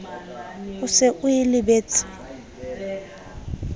o se o e lebetse